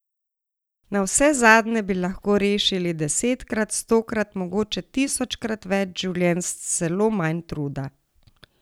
Navsezadnje bi lahko rešili desetkrat, stokrat, mogoče tisočkrat več življenj s celo manj truda.